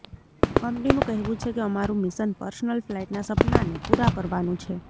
કંપનીનું કહેવું છે કે અમારું મિશન પર્સનલ ફ્લાઇટના સપનાને પૂરા કરવાનું છે